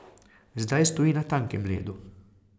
Zdaj stoji na tankem ledu.